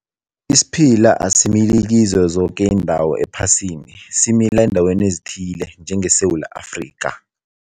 Isiphila asimili kizo zoke iindawo ephasini, simila endaweni ezithile njengeSewula Afrika.